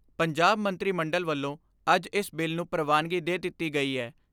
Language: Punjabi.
ਪੰਜਾਬ ਮੰਤਰੀ ਮੰਡਲ ਵੱਲੋਂ ਅੱਜ ਇਸ ਬਿੱਲ ਨੂੰ ਪ੍ਰਵਾਨਗੀ ਦੇ ਦਿੱਤੀ ਗਈ ਏ।